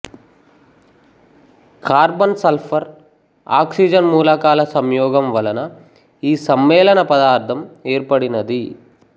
carbon sulphur oxygen మూలకాల సంయోగం వలన ఈ సమ్మేళనపదార్థం ఏర్పడినది